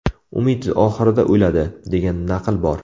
Umid oxirida o‘ladi, degan naql bor.